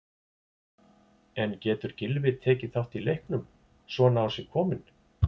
En getur Gylfi tekið þátt í leiknum, svona á sig kominn?